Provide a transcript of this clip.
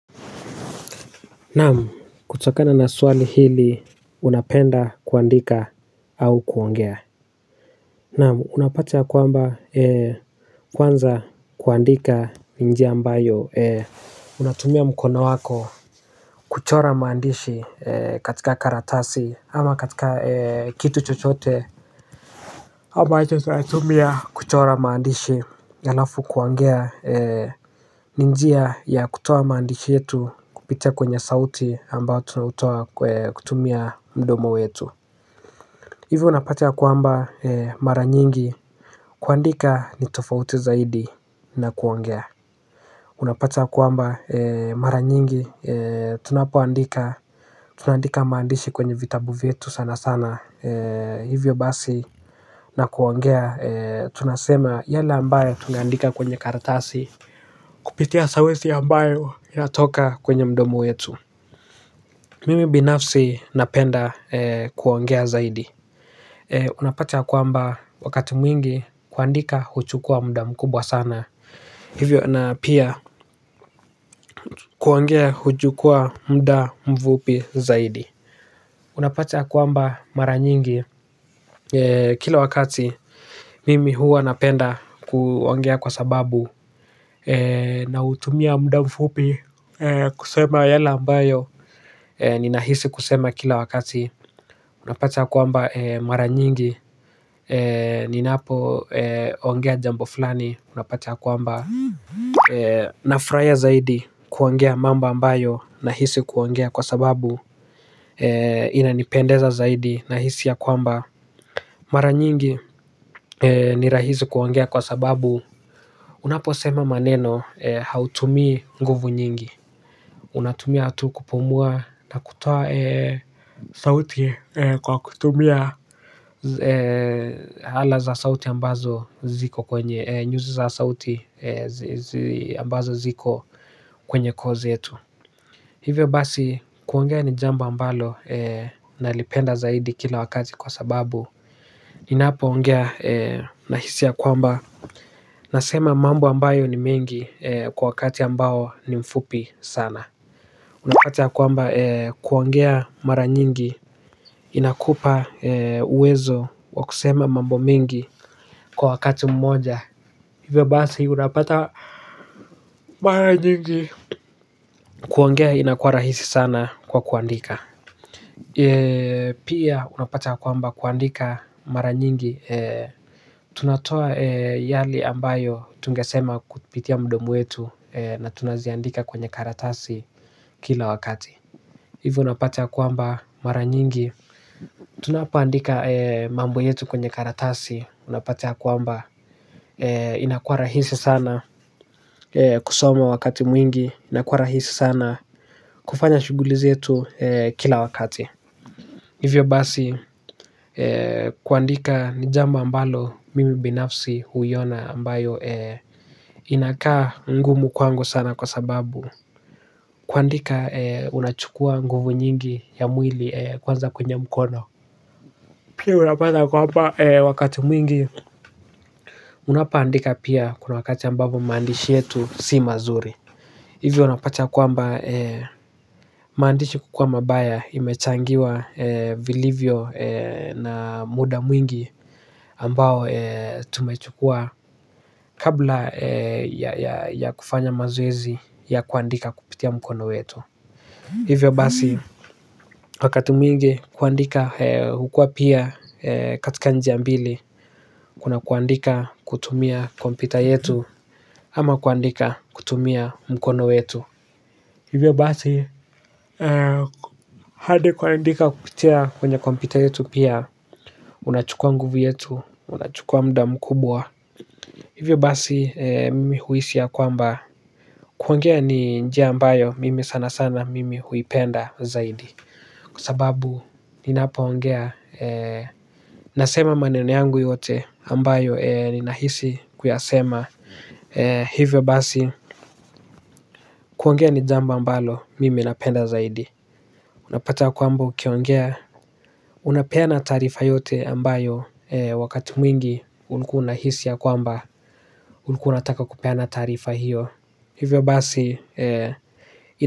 Naamu kutokana na swali hili unapenda kuandika au kuongea. Naamu unapata ya kwamba ee kwanza kuandika njia ambayo ee unatumia mkona wako kuchora maandishi ee katika karatasi ama katika ee kitu chochote ambacho tunatumia kuchora maandishi alafu kuangea ninjia ya kutoa maandishi yetu kupitia kwenye sauti ambao tunautoa kutumia mdomo wetu. Hivyo unapata ya kuamba mara nyingi kuandika ni tofauti zaidi na kuongea unapata ya kuamba mara nyingi tunapoandika tunaandika maandishi kwenye vitabu vyetu sana sana hivyo basi. Na kuongea tunasema yale ambayo tunandika kwenye kartasi. Kupitia sawesi ambayo ya toka kwenye mdomo wetu. Mimi binafsi napenda kuongea zaidi. Unapata kuamba wakati mwingi kuandika huchukua muda mkubwa sana. Hivyo na pia kuongea huchukua muda mvupi zaidi. Unapata kuamba mara nyingi kila wakati mimi huwa napenda kuongea kwa sababu nautumia mdamfupi kusema yale ambayo ninahisi kusema kila wakati unapata kuamba mara nyingi ninapo ongea jambo fulani unapata kuamba na fraia zaidi kuongea mamba ambayo nahisi kuongea kwa sababu inanipendeza zaidi nahisi ya kuamba mara nyingi ni rahisi kuongea kwa sababu unapo sema maneno hautumii nguvu nyingi. Unatumia atu kupumua na kutoa sauti kwa kutumia ala za sauti ambazo ziko kwenye nyuzi za sauti ambazo ziko kwenye koo zetu. Hivyo basi kuongea ni jamba ambalo na lipenda zaidi kila wakazi kwa sababu ninapo ongea nahisi ya kwamba nasema mambo ambayo ni mengi kwa wakati ambayo ni mfupi sana. Unapata ya kwamba kuongea mara nyingi inakupa uwezo wa kusema mambo mingi kwa wakati mmoja. Hivyo basi unapata mara nyingi. Kuongea inakuwa rahisi sana kwa kuandika. Pia unapata ya kwamba kuandika mara nyingi. Tunatoa yale ambayo tunge sema kutipitia mdomo yetu na tunaziandika kwenye karatasi kila wakati. Hivyo unapata kuamba mara nyingi. Tunapoandika mambo yetu kwenye karatasi unapataa kuamba inakua rahisi sana kusoma wakati mwingi. Inakua rahisi sana kufanya shuguli zetu kila wakati. Hivyo basi kuandika nijambo ambalo mimi binafsi huyona ambayo inakaa ngumu kwangu sana kwa sababu kuandika unachukua nguvu nyingi ya mwili kwanza kwenye mkono. Pili unapata kwamba wakati mwingi unapoandika pia kuna wakati ambapo maandishi yetu si mazuri. Hivyo unapata kuamba maandishi kukua mabaya imechangiwa vilivyo na muda mwingi ambao tumechukua kabla ya kufanya mazoezi ya kuandika kupitia mkono wetu. Hivyo basi wakati mwingi kuandika hukua pia katika njia mbili. Kuna kuandika kutumia kompyuta yetu ama kuandika kutumia mkono wetu. Hivyo basi hadi kuandika kupitia kwenye kompyuta yetu pia. Unachukua nguvu yetu, unachukua muda mkubwa. Hivyo basi mimi huisi ya kwamba kuongea ni njia ambayo mimi sana sana mimi huipenda zaidi kwa sababu ninapo ongea nasema maneno yangu yote ambayo ninahisi kuyasema. Hivyo basi kuongea ni jambo mbalo mimi napenda zaidi. Unapata kwamba ukiongea unapeana taarifa yote ambayo wakati mwingi ulkuwa una hisi ya kwamba ulkuwa una taka kupeana tarifa hiyo hivyo basi ito.